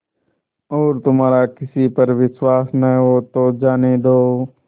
और तुम्हारा किसी पर विश्वास न हो तो जाने दो